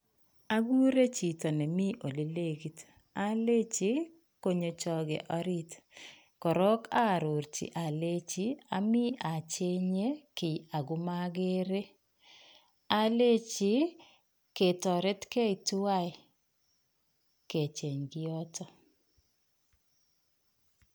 Akure chito nemii olenekiit alenchi konyo choke oriit, korok arorchi alenchi amii acheng'e kii akomakeree, alenchi ketoretkee tuwai kecheng kioton.